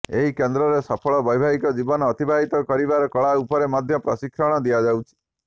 ଏହି କେନ୍ଦ୍ରରେ ସଫଳ ବ୘ବାହିକ ଜୀବନ ଅତିବାହିତ କରିବାର କଳା ଉପରେ ମଧ୍ୟ ପ୍ରଶିକ୍ଷଣ ଦିଆଯାଉଛି